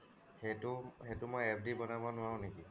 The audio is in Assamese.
সেইটো সেইটো মই FD বনাব নোৱাৰোঁ নেকি